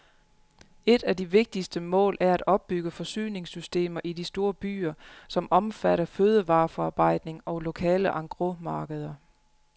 Et af de vigtigste mål er at opbygge forsyningssystemer i de store byer, som omfatter fødevareforarbejdning og lokale engrosmarkeder.